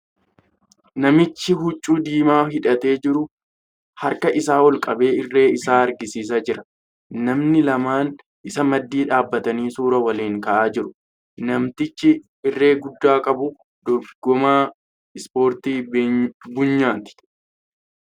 Namichi hucuu diimaa hidhatee ijru harka isaa ol qabee irree isaa agarsiisaa jira. Namoonni lamaan isa maddii dhaabbatanii suura waliin ka'aa jira. Namtichi irree guddaa qabu dorgomaa ' Ispoortii Bunyaati' .